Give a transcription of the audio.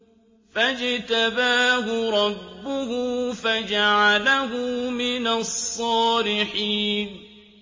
فَاجْتَبَاهُ رَبُّهُ فَجَعَلَهُ مِنَ الصَّالِحِينَ